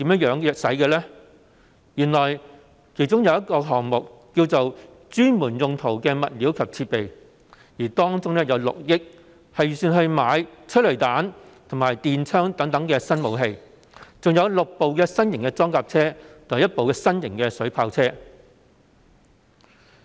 原來，有一項目名為"專門用途的物料及設備"，其中的6億元預算用於購買催淚彈和電槍等新武器，以及6輛新型裝甲車及1輛新型水炮車。